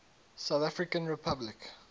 south african republic